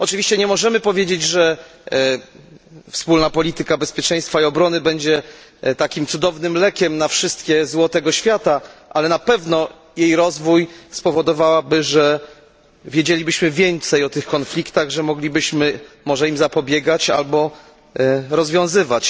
Oczywiście nie możemy powiedzieć, że Wspólna Polityka Bezpieczeństwa i Obrony będzie takim cudownym lekiem na całe zło tego świata, ale na pewno jej rozwój spowodowałby, że wiedzielibyśmy więcej o tych konfliktach, że moglibyśmy może im zapobiegać albo je rozwiązywać.